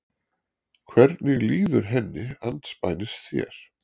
Hvernig líður henni andspænis þér?